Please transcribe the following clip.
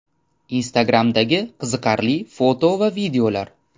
Instagram’dagi qiziqarli foto va videolar.